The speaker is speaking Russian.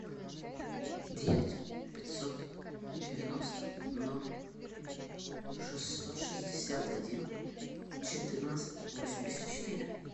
девять пятьсот девяносто ноль шестьсот шестьдесят один четырнадцать восемьдесят четыре